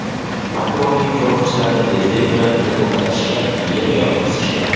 Makronning qo‘riqchilari tezlik bilan uni to‘xtatishgan va yerga yotqizishgan.